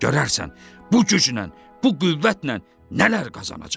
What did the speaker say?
Görərsən bu güclə, bu qüvvətlə nələr qazanacam.